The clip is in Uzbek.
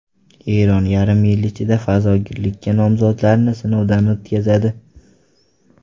Eron yarim yil ichida fazogirlikka nomzodlarni sinovdan o‘tkazadi.